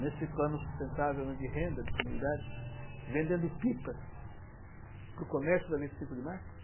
nesse plano sustentável, né, de renda de comunidade, vendendo pipas para o comércio da vinte e cinco de março?